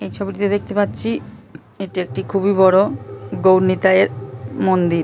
এই ছবিটিতে দেখতে পাচ্ছি এটি একটি খুবই বড় গৌড় নিতাই এর মন্দির ।